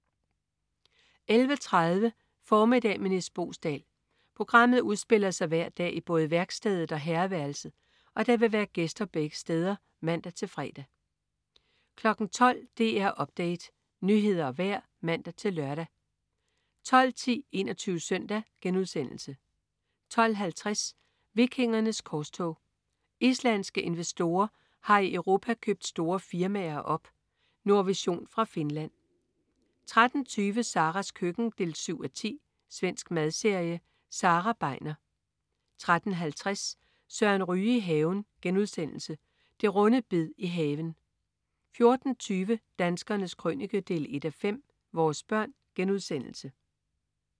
11.30 Formiddag med Nis Boesdal. Programmet udspiller sig hver dag i både værkstedet og herreværelset, og der vil være gæster begge steder (man-fre) 12.00 DR Update. Nyheder og vejr (man-lør) 12.10 21 Søndag* 12.50 Vikingernes korstog. Islandske investorer har i Europa opkøbt store firmaer. Nordvision fra Finland 13.20 Saras køkken 7:10. Svensk madserie. Sara Begner 13.50 Søren Ryge i haven.* Det runde bed i haven 14.20 Danskernes Krønike 1:5. Vores børn*